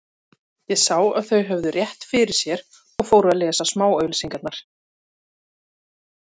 Ég sá að þau höfðu rétt fyrir sér og fór að lesa smáauglýsingarnar.